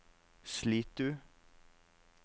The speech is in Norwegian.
Slitu